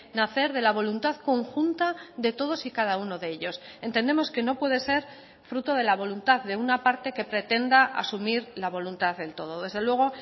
nacer de la voluntad conjunta de todos y cada uno de ellos entendemos que no puede ser fruto de la voluntad de una parte que pretenda asumir la voluntad del todo desde luego